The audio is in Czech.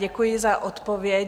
Děkuji za odpověď.